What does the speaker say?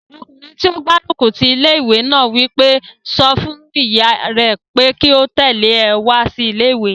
Ọkùnrin tó gbárùkù ti ilé-ìwé náà wí pé, "sọ fún ìyá rẹ pé kí ó tẹ̀lé ọ wá sí ilé-ìwé!"